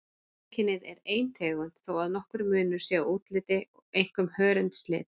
Mannkynið er ein tegund þó að nokkur munur sé á útliti, einkum hörundslit.